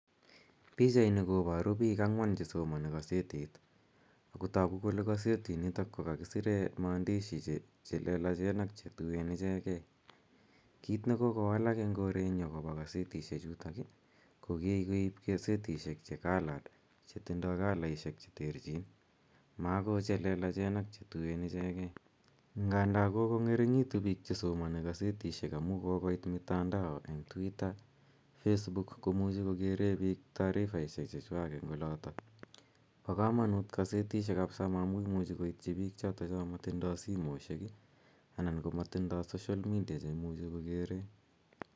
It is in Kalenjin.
Pichaini koparu pik ang'wan che somani kasetit ako tagu kole kasetinitok ko kakisire maandishi che lelachen ak che tuen ichegei. Kit ne kokowalak eng' korenyu akopa kasetishechutok i, ko Kikeip kasetishek che coloured che tindai kalaiehek che terchin. Ma ko che lelachen ak che tuen ichegei. Nganda kokong'ering'itu pik che somani kasetishek amu kokoit mitandao, eng' twitter, facebook ko muchi kokere pik tarifaishek chewak eng' olatak. Pa kamanut kasetishek kapsa amu imuchi koitchi pik cha matindai simoshek anan ko matindai social media che imuchi kokere.